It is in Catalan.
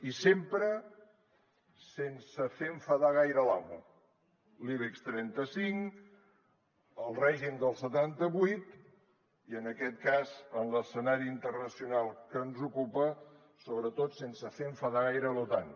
i sempre sense fer enfadar gaire l’amo l’ibex trenta cinc el règim del setanta vuit i en aquest cas en l’escenari internacional que ens ocupa sobretot sense fer enfadar gaire l’otan